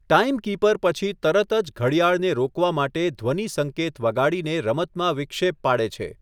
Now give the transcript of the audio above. Timekeeper પછી તરત જ ઘડિયાળને રોકવા માટે ધ્વનિ સંકેત વગાડીને રમતમાં વિક્ષેપ પાડે છે.